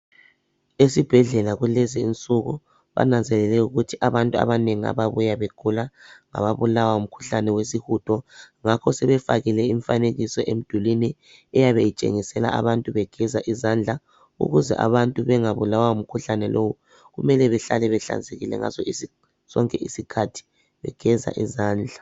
Esibhedlela kulezinsuku bananzelele ukuthi abantu abanengi ababuya begula ngaba bulawa ngumkhuhlane wesihudo ngakho sebefakile imfanekiso emdulwini eyabe itshengisela abantu begeza izandla ukuze abantu bengabulawa ngumkhuhlane lowu kumele behlale behlanzekile ngazozonke izikhathi begeza izandla.